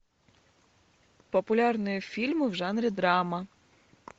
популярные фильмы в жанре драма